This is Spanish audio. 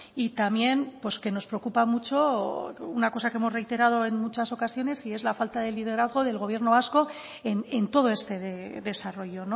y también pues que nos preocupa mucho una cosa que hemos reiterado en muchas ocasiones y es la falta de liderazgo del gobierno vasco en todo este desarrollo